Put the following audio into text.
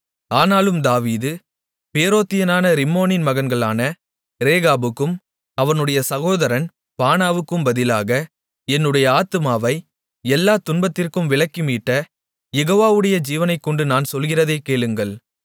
ஆனாலும் தாவீது பேரோத்தியனான ரிம்மோனின் மகன்களான ரேகாபுக்கும் அவனுடைய சகோதரன் பானாவுக்கும் பதிலாக என்னுடைய ஆத்துமாவை எல்லாத் துன்பத்திற்கும் விலக்கிமீட்ட யெகோவாவுடைய ஜீவனைக்கொண்டு நான் சொல்லுகிறதைக் கேளுங்கள்